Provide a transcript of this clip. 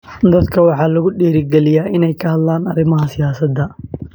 Dadka waxaa lagu dhiirigelinayaa inay ka hadlaan arrimaha siyaasadda.